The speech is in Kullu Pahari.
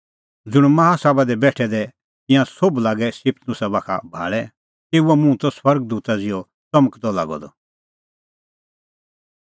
ज़ुंण माहा सभा दी तै बेठै दै तिंयां सोभ लागै स्तिफनुसा बाखा भाल़ै तेऊओ मुंह त स्वर्ग दूता ज़िहअ च़मकदअ लागअ द